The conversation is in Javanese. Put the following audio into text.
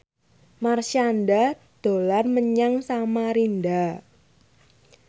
Marshanda dolan menyang Samarinda